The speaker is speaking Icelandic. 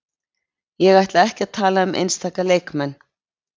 Ég ætla ekki að tala um einstaka leikmenn.